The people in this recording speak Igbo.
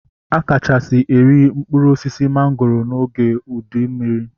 A kachasị eri mkpụrụ osisi mangoro oge ụdị mmiri